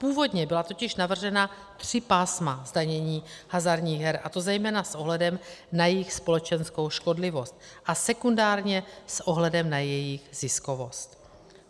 Původně byla totiž navržena tři pásma zdanění hazardních her, a to zejména s ohledem na jejich společenskou škodlivost a sekundárně s ohledem na jejich ziskovost.